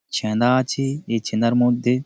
ছেঁদা আছে এই ছেঁদা মধ্যে।